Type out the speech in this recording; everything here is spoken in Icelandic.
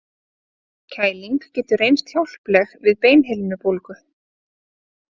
Kæling getur reynst hjálpleg við beinhimnubólgu.